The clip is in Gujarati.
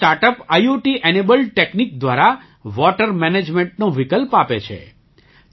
તે start up IOT enabled technique દ્વારા વૉટર મેનેજમેન્ટનો વિકલ્પ આપે છે